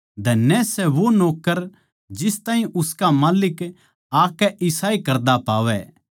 धन्य सै वो नौक्कर जिस ताहीं उसका माल्लिक आकै इसाए करदा पावै